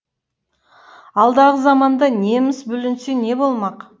алдағы заманда неміс бүлінсе не болмақ